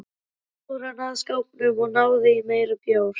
Svo fór hann að skápnum og náði í meiri bjór.